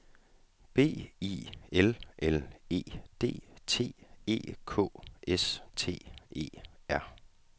B I L L E D T E K S T E R